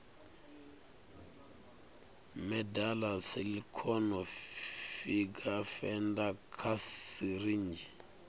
medela silicone finger feeder kha sirinzhi